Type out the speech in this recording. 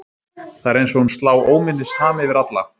Það er eins og hún slá óminnisham yfir alla.